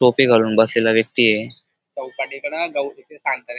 टोपी घालून बसलेला व्यक्ती ये.